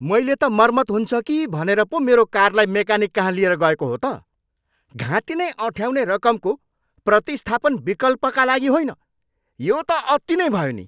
मैले त मर्मत हुन्छ कि भनेर पो मेरो कारलाई मेकानिककहाँ लिएर गएको हो त, घाँटी नै अँठ्याउने रकमको प्रतिस्थापन विकल्पका लागि होइन। यो त अति नै भयो नि!